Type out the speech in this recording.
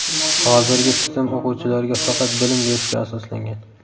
Hozirgi tizim o‘quvchilarga faqat bilim berishga asoslangan.